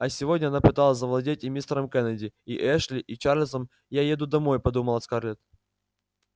а сегодня она пыталась завладеть и мистером кеннеди и эшли и чарлзом я уеду домой подумала скарлетт